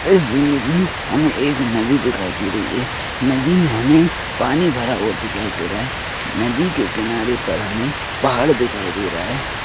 इस इमेज में हमें एक नदी दिखाई दे रही है नदी में हमें पानी भरा हुआ दिखाई देरा है नदी के किनारे पर हमें पहाड़ दिखाई देरा है।